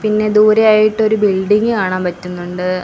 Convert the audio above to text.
പിന്നെ ദൂരെയായിട്ട് ഒരു ബിൽഡിംഗ് കാണാൻ പറ്റുന്നുണ്ട്.